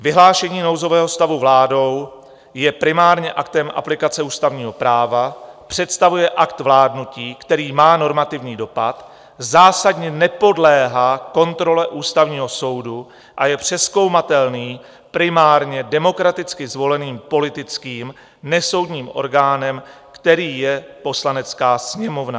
Vyhlášení nouzového stavu vládou je primárně aktem aplikace ústavního práva, představuje akt vládnutí, který má normativní dopad, zásadně nepodléhá kontrole Ústavního soudu a je přezkoumatelný primárně demokraticky zvoleným politickým nesoudním orgánem, kterým je Poslanecká sněmovna.